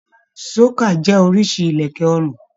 Ṣókà jẹ oriṣi ilẹkẹ ọrùn.